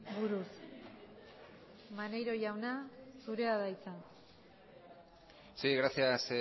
buruz maneiro jauna zurea da hitza sí gracias